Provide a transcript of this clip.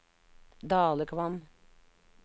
Dalekvam